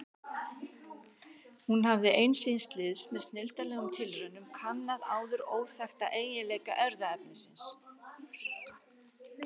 Hún hafði ein síns liðs með snilldarlegum tilraunum kannað áður óþekkta eiginleika erfðaefnisins.